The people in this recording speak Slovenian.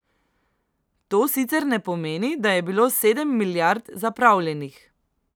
To sicer ne pomeni, da je bilo sedem milijard zapravljenih.